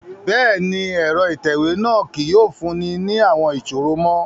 Bẹ́ẹ̀ni, ẹrọ itẹwe náa kii yóò funni ni awọn iṣoro mo